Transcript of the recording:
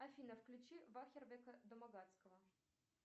афина включи вахверка домогацкого